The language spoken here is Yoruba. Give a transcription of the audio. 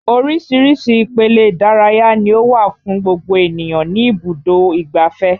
Oríṣiríṣi ipele ìdárayá ni ó wà fún gbogbo ènìyàn ní ibùdó ìgbáfẹ́